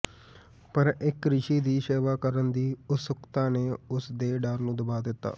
ਪਰ ਇੱਕ ਰਿਸ਼ੀ ਦੀ ਸੇਵਾ ਕਰਨ ਦੀ ਉਤਸੁਕਤਾ ਨੇ ਉਸ ਦੇ ਡਰ ਨੂੰ ਦਬਾ ਦਿੱਤਾ